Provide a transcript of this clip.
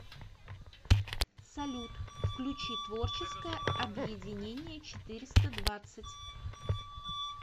салют включи творческое объединение четыреста двадцать